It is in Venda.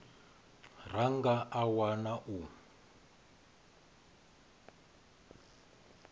ra nga a wana u